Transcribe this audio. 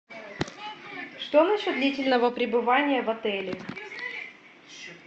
что на счет длительного пребывания в отеле